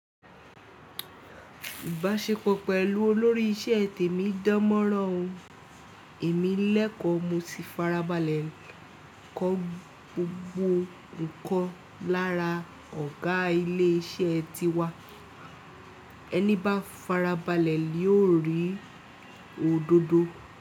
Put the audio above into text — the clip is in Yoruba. Ìbáṣepọ̀ pẹ̀lú olórí iṣẹ́ te mi dán mọ́rán o. Èmi lẹ́kọ̀ọ́ mo si farabalẹ̀ kọ́ gbogbo ǹkan lára ọ̀gá ilé iṣẹ́ tiwa. Ẹni bá farabalẹ̀ li ó rí òdodo.